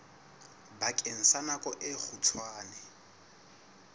bakeng sa nako e kgutshwane